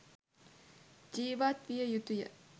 ජීවත් විය යුතු ය.